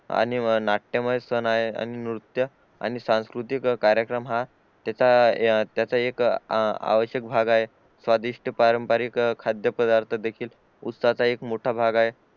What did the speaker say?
आणि नाट्यमय सण आहे आणि नृत्य आणि सांस्कृतिक कार्यक्रम हा त्याचा त्याचा अह एक अवश्यक भाग आहे स्वादिष्ट पारंपरिक खाद्यपदार्थ देखील उत्साह चा एक मोठा भाग आहे